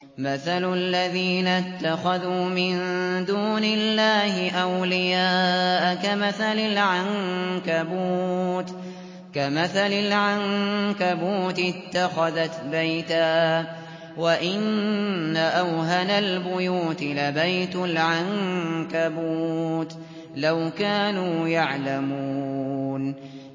مَثَلُ الَّذِينَ اتَّخَذُوا مِن دُونِ اللَّهِ أَوْلِيَاءَ كَمَثَلِ الْعَنكَبُوتِ اتَّخَذَتْ بَيْتًا ۖ وَإِنَّ أَوْهَنَ الْبُيُوتِ لَبَيْتُ الْعَنكَبُوتِ ۖ لَوْ كَانُوا يَعْلَمُونَ